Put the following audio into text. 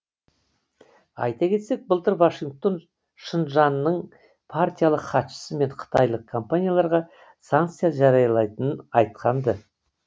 айта кетсек былтыр вашингтон шыңжаңның партиялық хатшысы мен қытайлық компанияларға санкция жариялайтынын айтқан ды